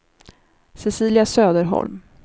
Cecilia Söderholm